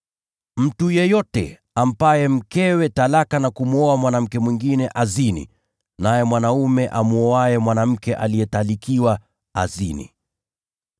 “Mtu yeyote amwachaye mkewe na kumwoa mwanamke mwingine anazini, naye mwanaume amwoaye mwanamke aliyetalikiwa anazini.